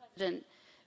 Madam President,